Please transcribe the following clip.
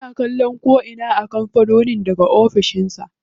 Ana kallon ko'ina a kampanin daga ofishin sa.